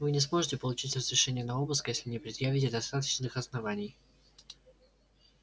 вы не сможете получить разрешения на обыск если не предъявите достаточных оснований